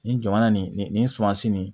Nin jamana nin nin nin nin sumansi nin